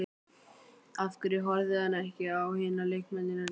Af hverju horfði hann ekki á hina leikmennina líka?